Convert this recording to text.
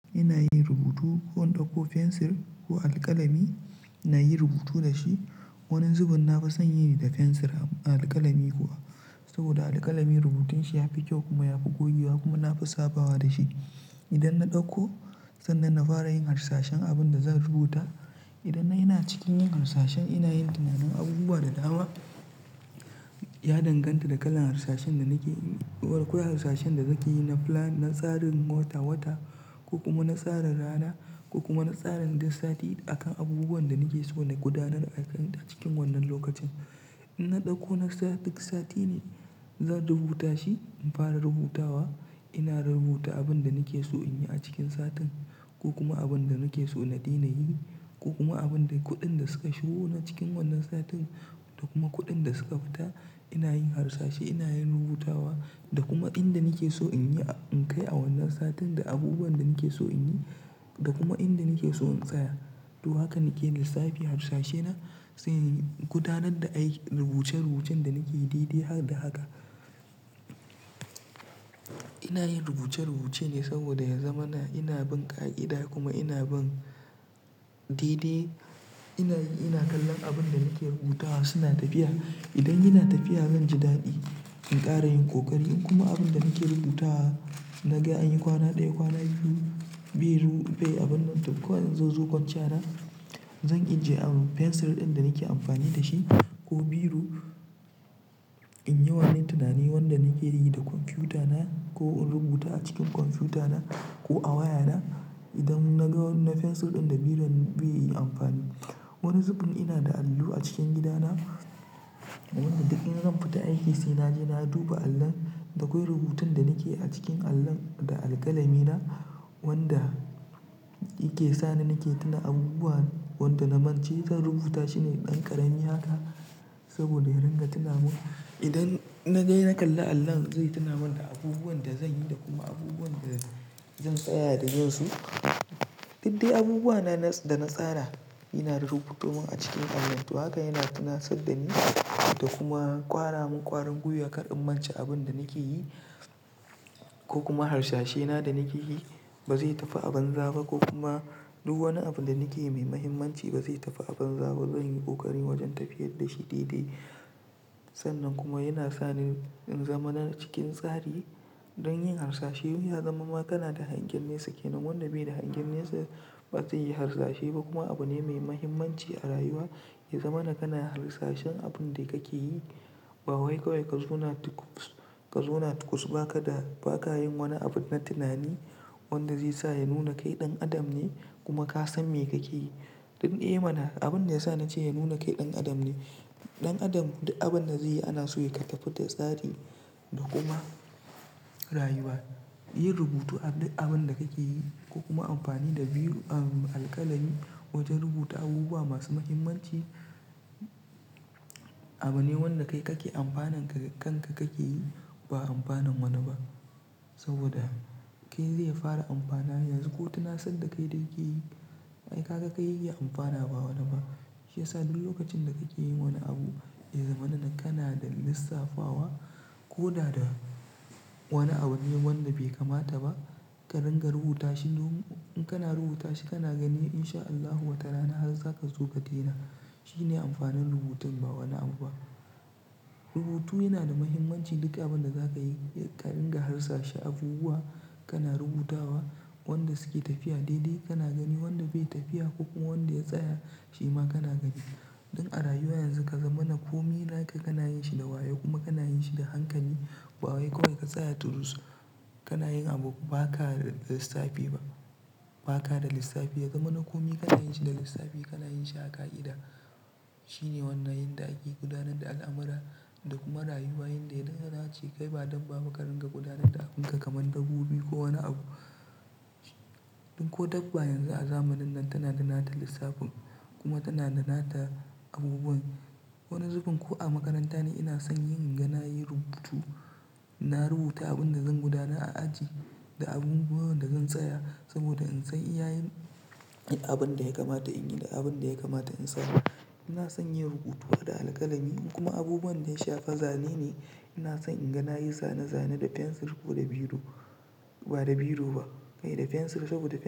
Ina yin rubutu ko in ɗauko fensir ko alkalami, na yi rubutu da shi. Wani zubun na fi son yin da fensir a alkalami kuwa, saboda alkalami rubutun shi ya fi kyau kuma ya fi gogewa kuma na fi sabawa da shi. Idan na ɗauko, sannan na fara yin harsashan abin da zan rubuta. Idan ina cikin yin harsashan ina yin tunanin abubuwa da dama. Ya danganta da kalan harsashan da nake yi, ko kuma harsashen da nake yi na plan, na tsarin wata-wata ko kuma na tsarin rana ko kuma na tsarin duk sati akan abubuwan da nake so na gudanar a kan cikin wannan lokacin. In na ɗauko na tsari duk sati ne zan rubuta shi. In fara rubutawa ina rubuta abin da nake so in yi a cikin satin ko kuma abin da nake so na daina yi ko kuma abin da kuɗin da suka shigo na cikin wannan satin da kuma kuɗin da suka fita. Ina yin harsashe, ina yin rubutawa da kuma inda nake so in yi, in kai a wannan satin da abubuwan da nake so in yi da kuma inda nake so in tsaya. To haka nake lissafi harsashena, sai in gudanar da aiki, rubuce-rubucen da nake yi dai-dai har da haka. Ina yin rubuce-rubuce ne saboda ya zamana ina bin ƙa'ida kuma ina bin dai-dai. Ina yin, ina kallon abin da nake rubutawa suna tafiya. Idan yana tafiya zan ji daɗi, in ƙara yin ƙoƙari in kuma abin da nake rubuta na ga an yi kwana ɗaya, kwana biyu, bai abin nan to kawai zanzo gun kwanciya na, zan ajiye fensir ɗin da nake amfani da shi ko biro in yi wani tunani wanda nake yi da kwamfiyuta na ko in rubuta a cikin kwamfuta na ko a waya na. Idan na ga na fensir ɗin da biro beyi amfani. Wani zubin ina da allo a cikin gidana, wanda duk in zan fita aiki sai na je na duba allon. Da kwai rubutun da nake a cikin allon da alkalami na wanda yake sa ni nake tuna abubuwan wanda na mance zan rubuta shine ɗan ƙarami haka saboda ya ringa tuna min. Idan na je na kalli allon zai tuna min da abubuwan da zan yi da kuma abubuwan da zan tsaya da zan so. Duk de abubuwa na da na tsara ina rubuto min a cikin allon. To haka yana tunasar da ni da kuma ƙwara min ƙwarin gwiyar kar in mance abin da nake yi ko kuma harsashe na da nake yi ba zai tafi abanza ba ko kuma duk wani abu da nake mai mahimmanci ba zai tafi abanza ba. Zan yi ƙoƙari wajen tafiyar da shi daidai. Sannan kuma yana sa ni in zama na cikin tsari don yin harsashai. Ya zama ma kana da hangen nesa kenan wanda bai da hangen nesa ba zai yi harsashe ba kuma abu ne mai mahimmanci a rayuwa. Ya zama na kana harsashen abun da kake yi. Ba wai kawai ka zo na tukuɓs, ka zo na tukuɓs ba ka ba ka yin wani abu na tunani wanda zai sa ya nuna kai ɗan adam ne kuma ka san me kake yi. In eh mana abin da ya sa na ce ya nuna kai ɗan adam ne. Ɗan adam duk abin da zai yi ana so ya ka tafi da tsari da kuma rayuwa. Yi rubutu a duk abin da kake yi ko kuma amfani da biro alkalami wajen rubuta abubuwa masu mahimmanci abu ne wanda kai kake amfanan kan ka kake yi ba amfanin wani ba. Saboda kai zai ya fara amfana yanzu ko tunasar da kai da yake yi, ai ka ga kai ya amfana ba wani ba. Shi ya sa duk lokacin da kake yin wani abu, ya zama na kana da lissafawa ko da da wani abu ne wanda bai kamata ba ka ringa rubuta shi. Duk in kana rubuta shi kana gani insha Allahu wata rana har za ka zo ka dena. Shi ne amfanin rubutun ba wani abu ba. Rubutu yana da mahimmanci duka abin da za ka yi. Ka ringa harsashe abubuwa kana rubutawa wanda suke tafiya daidai kana gani, wanda bai tafiya ko kuma wanda ya tsaya shi ma kana gani. Don a rayuwa yanzu ka zama na kome naka kana yin shi da wayo kuma kana yin shi da hankali. Ba wai kawai ka tsaya turus, kana yin abu ba ka da lissafi ba. Ba ka da lissafi. Ya zama na kome kana yin shi da lissafi, kana yin shi a ƙa'ida. Shi ne wannan yanda ake gudanar da al'amura da kuma rayuwa. Yadda ya dace kai ba dabbaba ka ringa gudanar da abunka kamar dabbobi ko wani abu. Ko dabba yanzu a zamanin nan tana da nata lissafin kuma tana da nata abubuwan. Wani zubun ko a makaranta ne ina son yin, inga na yi rubutu. Na rubuta abin da zan gudanar a aji da abubuwan da zan tsaya saboda in san iya yin abin da ya kamata in yi da abin da ya kamata in samu. Ina son yin rubutu da alkalami in kuma abubuwan da ya shafi zane ne ina son inga na yi zane-zane da fensir ko da biro, ba da biro ba, ai da fensir saboda fensir.